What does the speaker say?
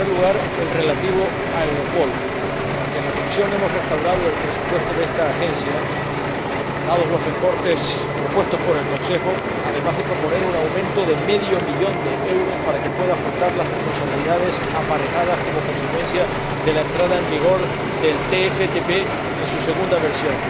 En primer lugar, el relativo a Europol, porque en la comisión hemos restaurado el presupuesto de esta Agencia, dados los recortes propuestos por el Consejo, y además hemos propuesto un aumento de medio millón de euros para que pueda afrontar las responsabilidades aparejadas como consecuencia de la entrada en vigor del TFTP en su segunda versión